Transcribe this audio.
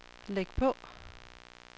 læg på